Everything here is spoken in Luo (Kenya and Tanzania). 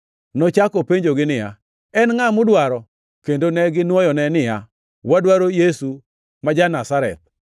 Nochako openjogi niya, “En ngʼa mudwaro?” Kendo neginwoyone niya, “Wadwaro Yesu ma jo-Nazareth.”